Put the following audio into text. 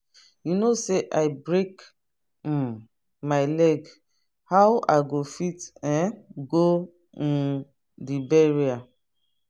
you know say i break um my leg how i go fit um go um the burial